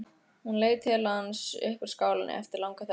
Hún leit til hans upp úr skálinni eftir langa þögn.